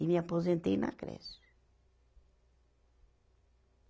E me aposentei na creche.